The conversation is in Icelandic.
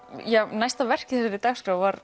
næsta verk á dagskrá var